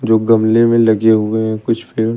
गमले में लगे हुए हैं कुछ पेड़।